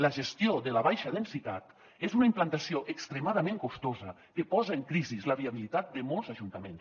la gestió de la baixa densitat és una implantació extremadament costosa que posa en crisi la viabilitat de molts ajuntaments